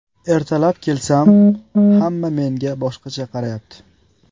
Ertalab kelsam, hamma menga boshqacha qarayapti.